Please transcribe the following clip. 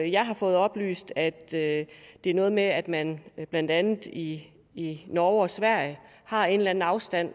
jeg har fået oplyst at det er noget med at man blandt andet i norge og sverige har en eller anden afstand